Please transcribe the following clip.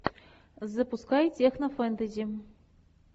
запускай технофэнтези